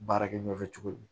Baarakɛ ɲɔgɔn fɛ cogo di